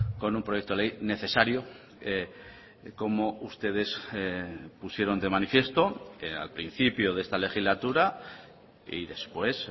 con un proyecto de ley necesario como ustedes pusieron de manifiesto al principio de esta legislatura y después